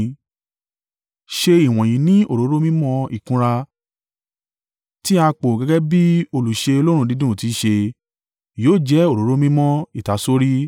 Ṣe ìwọ̀nyí ní òróró mímọ́ ìkunra, tí a pò gẹ́gẹ́ bí olùṣe òórùn dídùn tì í ṣe. Yóò jẹ òróró mímọ́ ìtasórí.